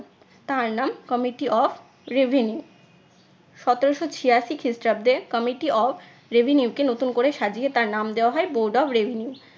তার নাম committee of reveneue সতেরশো ছিয়াশি খ্রিস্টাব্দে committee of revenue কে নতুন করে সাজিয়ে তার নাম দেওয়া হয় board of revenue